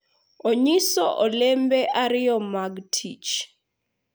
Onyiso olembe ariyo mag tich